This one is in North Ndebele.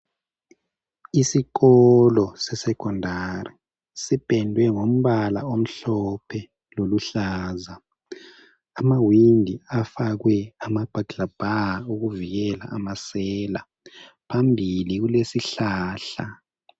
Isikolo seSecondary sipendwe ngombala omhlophe loluhlaza ama windi afakwe ama burglar bar okuvikela amasela. Phambili kulesihlahla.